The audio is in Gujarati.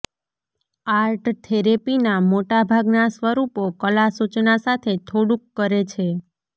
આર્ટ થેરેપીના મોટા ભાગનાં સ્વરૂપો કલા સૂચના સાથે થોડુંક કરે છે